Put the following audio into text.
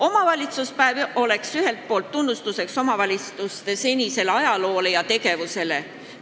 Omavalitsuspäev oleks ühelt poolt tunnustus omavalitsuste senisele ajaloole ja tegevusele.